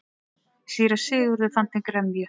Síra Sigurður fann til gremju.